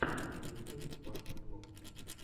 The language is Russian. ютюб факт блог